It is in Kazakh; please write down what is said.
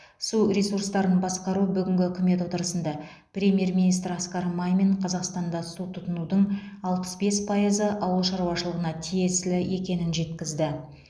су ресурстарын басқару бүгінгі үкімет отырысында премьер министр асқар мамин қазақстанда су тұтынудың алпыс бес пайызы ауыл шаруашылығына тиесілі екенін жеткізді